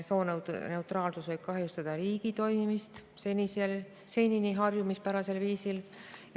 Sooneutraalsus võib kahjustada riigi toimimist senisel harjumuspärasel viisil.